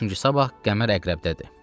Çünki sabah qəmər əqrəbdədir.